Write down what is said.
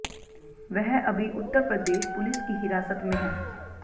वह अभी उत्तर प्रदेश पुलिस की हिरासत में है